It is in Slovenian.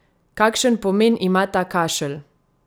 Kakšen pomen ima ta kašelj?